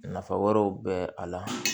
Nafa wɛrɛw bɛ a la